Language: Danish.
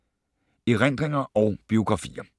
Erindringer og biografier